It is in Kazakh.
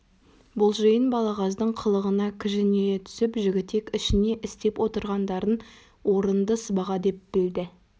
бұл жиын балағаздың қылығына кіжіне түсіп жігітек ішіне істеп отырғандарын орынды сыбаға деп білді